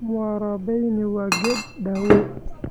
Mwarobaini waa geed daawo.